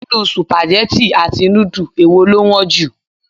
Nínú Sùpàgẹ́tì tàbí núdù, èwo lọ wọ́n jù?